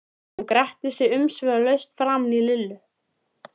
Hún gretti sig umsvifalaust framan í Lillu.